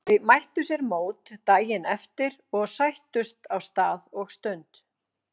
Þau mæltu sér mót daginn eftir og sættust á stað og stund.